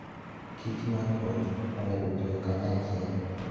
Kich maruoth ohero tiyo kanyachiel.